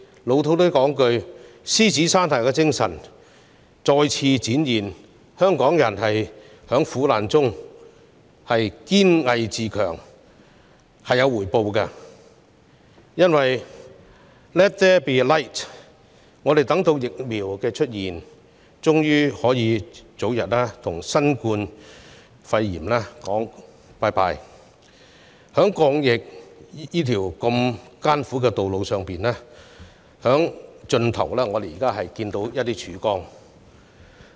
俗套點說，獅子山下的精神又再次展現，香港人在苦難中堅毅自強，這是有回報的 ——let there be light—— 我們終於等到疫苗面世，可以早日與新冠肺炎說再見，在抗疫的艱苦道路盡頭，我們現在能看到一點曙光了。